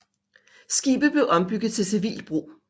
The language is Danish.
Skibet blev ombygget til civilt brug